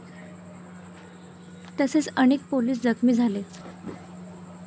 तसेच अनेक पोलीस जखमी झाले.